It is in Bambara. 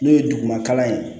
N'o ye duguma kalan ye